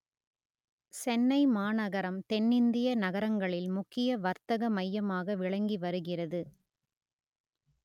சென்னை மாநகரம் தென்னிந்திய நகரங்களில் முக்கிய வர்த்தக மையாமாக விளங்கி வருகிறது